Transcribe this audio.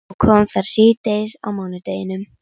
Og kom þar síðdegis á mánudeginum.